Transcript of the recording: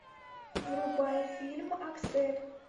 врубай фильм аксель